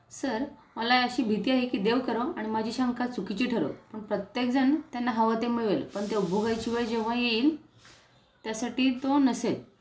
sir मला अशी भीती आहे की देवकरो आणि माझी शंका चुकीची ठरो पण प्रत्येक जण त्यांना हवं ते मिळेल पण ते उपभोगायची वेळ जेव्हा येईल त्यासाठी तो नसेल